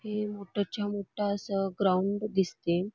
हे मोठं च्या मोठं असं ग्राउंड दिसते.